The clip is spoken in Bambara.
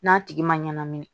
N'a tigi ma ɲɛnamini